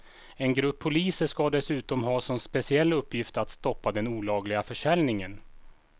En grupp poliser ska dessutom ha som speciell uppgift att stoppa den olagliga försäljningen.